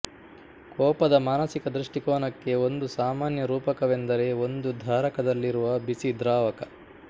ಕೋಪದ ಮಾನಸಿಕ ದೃಷ್ಟಿಕೋನಕ್ಕೆ ಒಂದು ಸಾಮಾನ್ಯ ರೂಪಕವೆಂದರೆ ಒಂದು ಧಾರಕದಲ್ಲಿರುವ ಬಿಸಿ ದ್ರಾವಕ